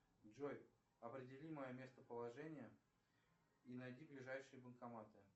джой определи мое местоположение и найди ближайшие банкоматы